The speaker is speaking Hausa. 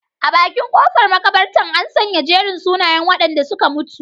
A bakin kofar makabartar, an sanya jerin sunayen wadanda suka mutu.